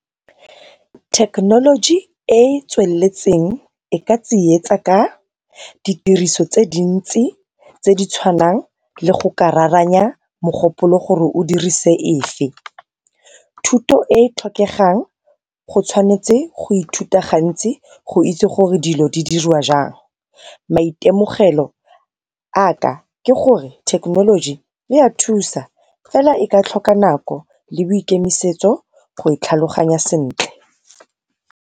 Thekenoloji e e tsweletseng, e ka tsietsa ka di tiriso tse dintsi tse di tshwanang le go kararanya mogopolo gore o dirise efe. Thuto e e tlhokegang go tshwanetse go ithuta gantsi, go itse gore dilo di dirwa jang. Maitemogelo a ka ke gore thekenoloji e ya thusa, fela e ka tlhoka nako le boikemisetso go e tlhaloganya sentle.